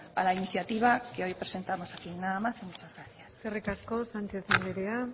a la iniciativa que hoy presentamos aquí nada más y muchas gracias eskerrik asko sánchez andrea